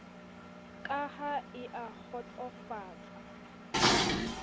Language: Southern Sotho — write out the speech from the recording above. ka ha e a kgotsosofala